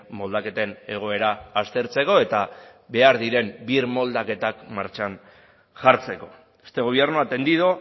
moldaketen egoera aztertzeko eta behar diren birmoldaketa martxan jartzeko este gobierno ha atendido